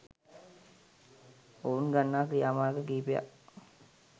ඔවුන් ගන්නා ක්‍රියාමාර්ග කිහිපයක්